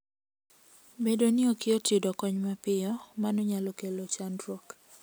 Bedo ni ok yot yudo kony mapiyo, mano nyalo kelo chandruok.